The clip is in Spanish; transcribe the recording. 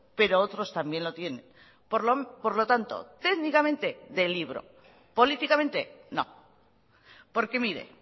pero otros también lo tienen por lo tanto técnicamente de libro políticamente no porque mire